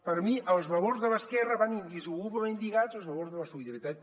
per a mi els valors de l’esquerra van indissolublement lligats als valors de la solidaritat